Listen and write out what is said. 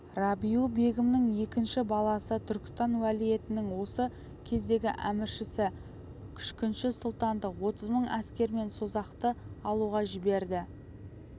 рабиу-бегімнің екінші баласы түркістан уәлиетінің осы кездегі әміршісі күшкінші сұлтанды отыз мың әскермен созақты алуға жіберді